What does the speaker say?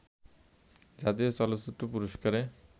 জাতীয় চলচ্চিত্র পুরস্কারে